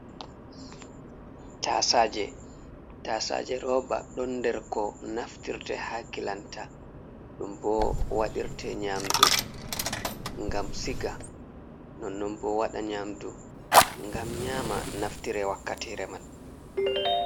Tasaje, tasaje roba ɗon nder ko naftirte ha kilanta, ɗum bo wadirte nyamdu, ngam siga. Non non bo waɗa nyamdu ngam nyama naftire wakkatire man.